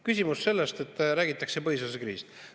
Küsimus sellest, et räägitakse põhiseaduse kriisist.